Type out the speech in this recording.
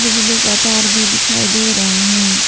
बिजली का तार भी दिखाई दे रहे हैं।